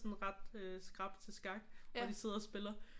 Sådan ret øh skrap til skak og de sidder og spiller